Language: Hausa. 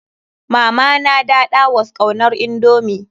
Mama na daɗa was kaunar indomie.